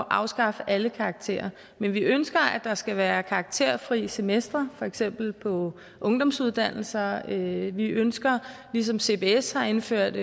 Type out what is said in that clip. afskaffe alle karakterer men vi ønsker at der skal være karakterfri semestre for eksempel på ungdomsuddannelserne vi ønsker ligesom cbs har indført